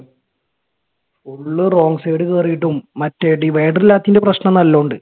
full wrong side കേറിയിട്ടും മറ്റേ divider ഇല്ലാത്തതിന്റെ പ്രശ്നം നല്ലോണം ഇണ്ട്.